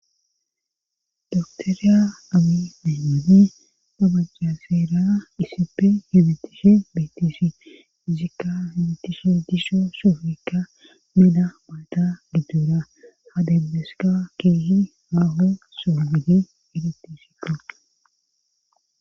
doktoriya amii deenmini dabaca seera isippe hibitishe biittisi izikka hibitishe disho soofikka mena malda giddura ha demmeska keehi maaho sogidi iditisikqo